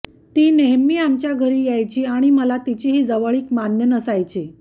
ती नेहमी आमच्या घरी यायची आणि मला तिची ही जवळीक मान्य नसायची